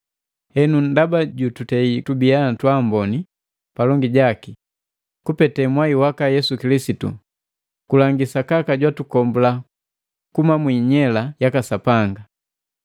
Henu ndaba jututei tubia twaamboni palongi jaki kupete mwai waka Yesu Kilisitu, kulangi sakaka jwatukombula kuhuma mwi inyela yaka Sapanga.